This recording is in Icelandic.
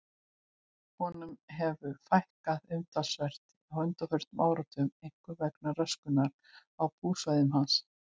Honum hefur fækkað umtalsvert á undanförnum áratugum, einkum vegna röskunar á búsvæðum hans.